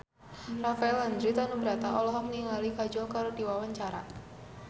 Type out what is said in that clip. Rafael Landry Tanubrata olohok ningali Kajol keur diwawancara